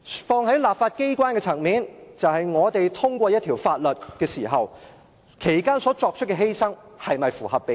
放在立法機關的層面，就是我們在通過一項法例時，作出的犧牲是否符合比例。